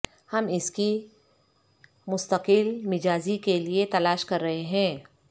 ہم اس کی مستقل مزاجی کے لئے تلاش کر رہے ہیں